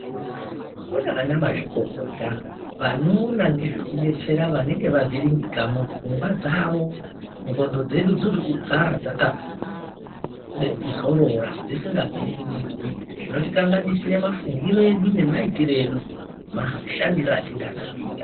Kune vana mazvikokota vanoona ngezvekubetsera vanenge vavhiringika mupfungwa dzavo dzxondo dzedu dzinoda kugara dzakazorora dzisikavhiringidzwi zvinotikanganise mufungire edu nemaitire edu nemashandire atingada kuita .